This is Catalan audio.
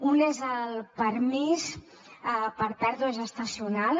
un és el permís per pèrdua gestacional